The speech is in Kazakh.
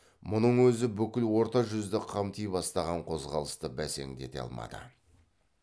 мұның өзі бүкіл орта жүзді қамти бастаған қозғалысты бәсеңдете алмады